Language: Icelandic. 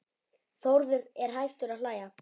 Þórður er hættur að hlæja.